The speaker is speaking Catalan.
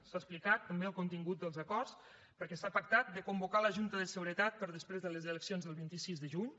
s’ha explicat també el contingut dels acords perquè s’ha pactat de convocar la junta de seguretat per després de les eleccions del vint sis de juny